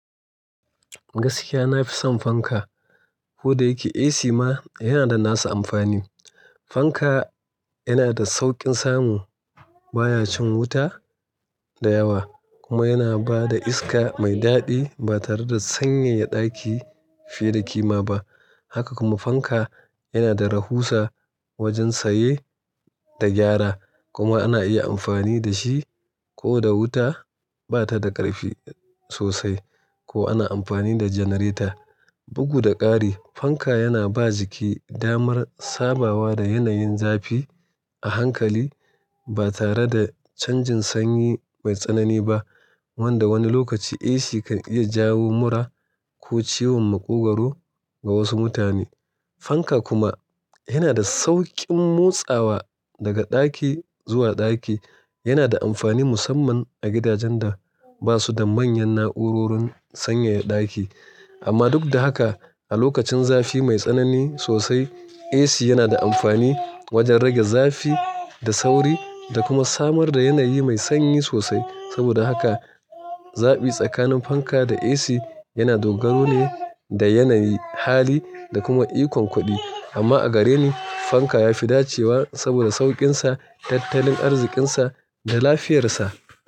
Gaskiya na fi son fanka. Kodayake AC ma yana da nasa amfanin. Fanka yana da sauƙin samu, baya shan wuta da yawa, kuma yana ba da iska mai daɗi ba tare da sanyaya ɗaki fiye da ƙima ba. Haka kuma fanka yana da rahusa wajen saye da gyara, kuma ana iya amfani da shi ko da wuta ba ta da ƙarfi sosai ko ana amfani da janareta. Bugu da ƙari, fanka yana ba jiki damar sabawa da yanayin zafi a hankali ba tare da canjin sanyi mai tsanani ba, wanda wani lokaci AC kan iya jawo mura ko ciwon maƙogwaro ga wasu mutane. Fanka kuma yana da sauƙin motsawa daga ɗaki zuwa ɗaki, yana da amfani musamman a gidajen da ba su da manyan na'urorin sanyaya ɗaki. Amma duk da haka, a lokacin zafi mai tsanani sosai, AC yana da amfani wajen rage zafi da sauri da kuma samar da yanayi mai sanyi sosai. Saboda haka, zabi tsakanin fanka da AC yana dogaro ne da yanayi, hali, da kuma ikon kuɗi. Amma a gare ni, fanka ya fi dacewa saboda sauƙinsa, tattalin arzikinsa, da lafiyarsa.